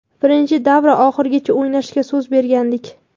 Birinchi davra oxirigacha o‘ynashga so‘z bergandik.